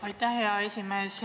Aitäh, hea esimees!